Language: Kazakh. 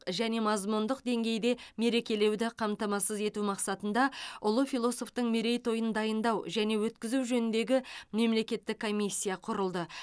және мазмұндық деңгейде мерекелеуді қамтамасыз ету мақсатында ұлы философтың мерейтойын дайындау және өткізу жөніндегі мемлекеттік комиссия құрылды